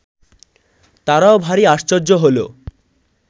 তারাও ভারী আশ্চর্য হলো